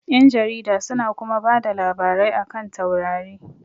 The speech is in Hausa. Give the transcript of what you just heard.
Ƴan jarida su na kuma bada labarai a kan taurari